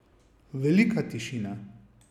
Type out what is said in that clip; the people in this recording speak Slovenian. Velika tišina.